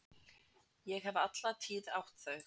Ég hef alla tíð átt þau.